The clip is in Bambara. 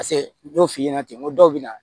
Paseke n y'o f'i ɲɛna ten n ko dɔw bɛ na